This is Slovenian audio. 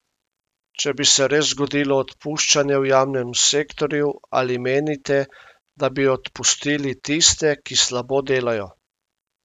Če bi se res zgodilo odpuščanje v javnem sektorju, ali menite, da bi odpustili tiste, ki slabo delajo?